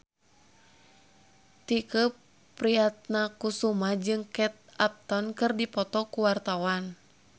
Tike Priatnakusuma jeung Kate Upton keur dipoto ku wartawan